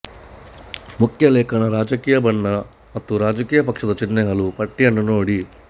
ಮುಖ್ಯ ಲೇಖನ ರಾಜಕೀಯ ಬಣ್ಣ ಮತ್ತು ರಾಜಕೀಯ ಪಕ್ಷದ ಚಿಹ್ನೆಗಳ ಪಟ್ಟಿಯನ್ನು ನೋಡಿ